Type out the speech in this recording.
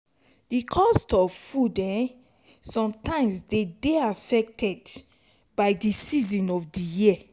the cost of food um sometimes dey dey affected by di season of di year